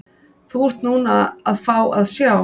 Þú ert núna að fá að sjá.